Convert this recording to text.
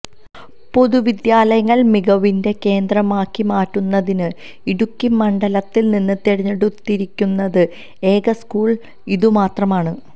പൊതുവിദ്യാലയങ്ങൾ മികവിന്റെ കേന്ദ്രമാക്കിമാറ്റുന്നതിന് ഇടുക്കി മണ്ഡലത്തിൽനിന്ന് തിരഞ്ഞെടുത്തിരിക്കുന്നത് ഏക സ്കൂൾ ഇതുമാത്രമാണ്